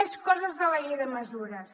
més coses de la llei de mesures